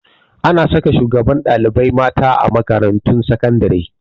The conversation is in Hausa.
Ana saka shugabar ɗalibai mata a makarantun sakandare